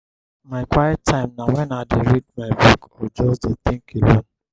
my quiet time na wen i dey read my book or just dey tink alone.